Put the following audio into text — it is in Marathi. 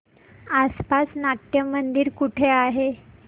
आसपास नाट्यमंदिर कुठे आहे